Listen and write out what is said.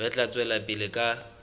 re tla tswela pele ka